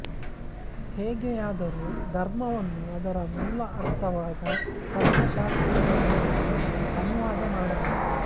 ಹೇಗೆಯಾದರೂ ಧರ್ಮವನ್ನು ಅದರ ಮೂಲ ಅರ್ಥವಾದ ತತ್ವಶಾಸ್ತ್ರೀಯತೆಯಿಂದ ಅನುವಾದ ಮಾಡಲಾಗಿದೆ